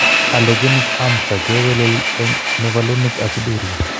Allogeneic amsa kewelel en mevalonic aciduria.